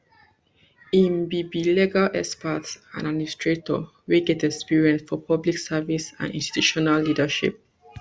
im be be legal expert and administrator wey get experience for public service and institutional leadership